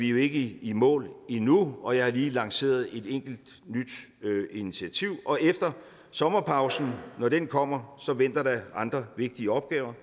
jo ikke i mål endnu jeg har lige lanceret et enkelt nyt initiativ og efter sommerpausen når den kommer venter der andre vigtige opgaver